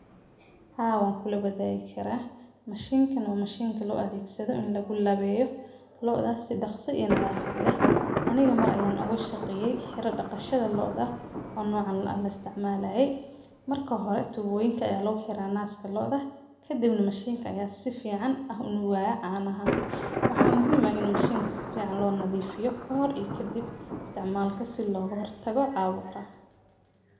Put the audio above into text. Haa waan kula wadaagi karaa. Mashinkaan waa mashiinka loo adheegsado in lagu laweeyo looda si daqsi ii nadhaafad leh. Aniga mar ayaan ooga shaqeeyey xira daqashada looda oo noocan aan la istacmaalaaye. Marka hore tubooyinka ayaa lagu xiraa naaska looda kadibna mashiinka ayaa sifiican ah u nuugaayaa caanaha. Waxaa muhiim ah ini mashinka sifican loo nadhiifiyo kahor ii kadib isticmaalka si loogo hortago caabuqa.